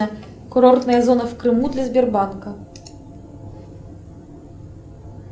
курортная зона в крыму для сбербанка